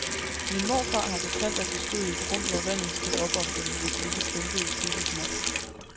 Min morfar har fortalt, at de stod i et rum, hvor vandet steg op om dem, hvis de ikke pumpede flittigt nok.